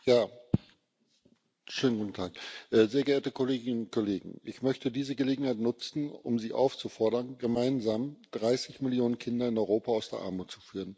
Frau Präsidentin, sehr geehrte Kolleginnen und Kollegen! Ich möchte diese Gelegenheit nutzen, um Sie aufzufordern, gemeinsam 30 Millionen Kinder in Europa aus der Armut zu führen.